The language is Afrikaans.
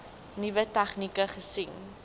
nuwe tegnieke gesien